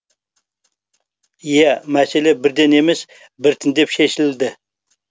иә мәселе бірден емес біртіндеп шешілді